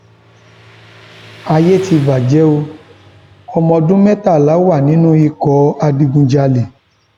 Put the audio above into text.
ayé ti bàjẹ o ọmọọdún mẹtàlá wà nínú ikọ adigunjalè